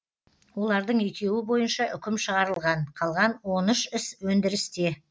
олардың екеуі бойынша үкім шығарылған қалған он үш іс өндірісте